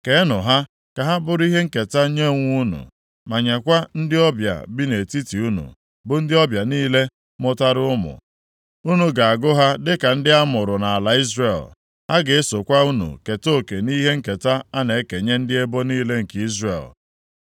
Keenụ ha ka ha bụrụ ihe nketa nye onwe unu, ma nyekwa ndị ọbịa bi nʼetiti unu, bụ ndị ọbịa niile mụtara ụmụ. Unu ga-agụ ha dịka ndị amụrụ nʼala Izrel. Ha ga-esokwa unu keta oke nʼihe nketa a na-ekenye ndị ebo niile nke Izrel.